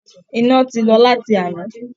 Iná ti lọ láti àná